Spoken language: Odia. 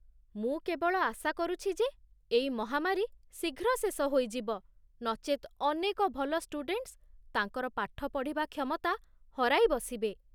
ମୁଁ କେବଳ ଆଶାକରୁଛି ଯେ ଏଇ ମହାମାରୀ ଶୀଘ୍ର ଶେଷ ହୋଇଯିବ, ନଚେତ୍ ଅନେକ ଭଲ ଷ୍ଟୁଡ଼େଣ୍ଟସ୍ ତାଙ୍କର ପାଠ ପଢ଼ିବା କ୍ଷମତା ହରାଇବସିବେ।